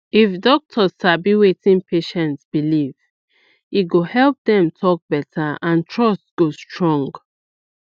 if doctor sabi wetin patient believe e go help dem talk better and trust go strong